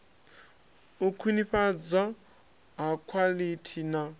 u khwinifhadzwa ha khwaḽithi na